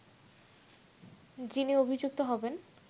যিনি অভিযুক্ত হবেন